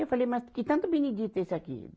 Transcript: Eu falei, mas que tanto Benedito é esse aqui?